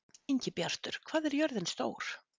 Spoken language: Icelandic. Ingibjartur, hvað er jörðin stór?